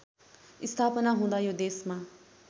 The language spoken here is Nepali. स्थापना हुँदा यो देशमा